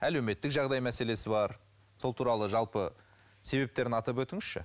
әлеуметтік жағдай мәселесі бар сол туралы жалпы себептерін атап өтіңізші